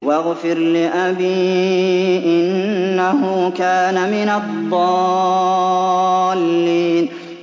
وَاغْفِرْ لِأَبِي إِنَّهُ كَانَ مِنَ الضَّالِّينَ